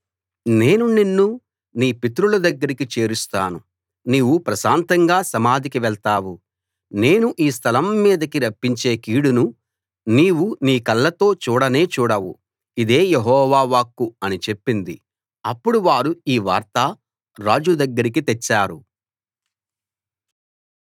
నేను నిన్ను నీ పితరుల దగ్గరికి చేరుస్తాను నీవు ప్రశాంతంగా సమాధికి వెళ్తావు నేను ఈ స్థలం మీదకి రప్పించే కీడును నీవు నీ కళ్ళతో చూడనే చూడవు ఇదే యెహోవా వాక్కు అని చెప్పింది అప్పుడు వారు ఈ వార్త రాజు దగ్గరికి తెచ్చారు